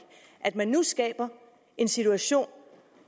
at man nu skaber en situation